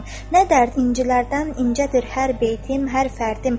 Nə dərd incilərdən incədir hər beytim, hər fərdim.